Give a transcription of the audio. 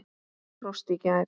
Frost í gær.